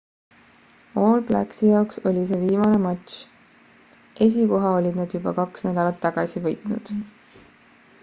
all blacksi jaoks oli see viimane matš esikoha olid nad juba kaks nädalat tagasi võitnud